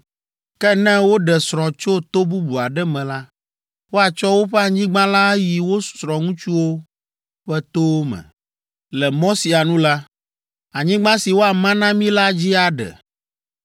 Ke ne woɖe srɔ̃ tso to bubu aɖe me la, woatsɔ woƒe anyigba la ayi wo srɔ̃ŋutsuwo ƒe towo me. Le mɔ sia nu la, anyigba si woama na mí la dzi aɖe,